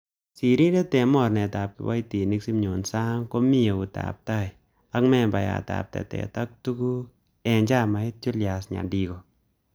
Sirindet en mornetab kiboitinik Simion Sang komi eutab tai, ak membayat ab tetet ab tuguk en chamait Julius Nyandigo.